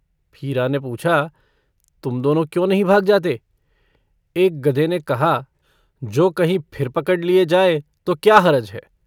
हीरा ने पूछा - तुम दोनों क्यों नहीं भाग जाते? एक गधे ने कहा - जो कहीं फिर पकड़ लिये जाए तो क्या हरज है।